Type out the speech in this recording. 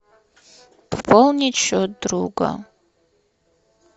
пополнить счет друга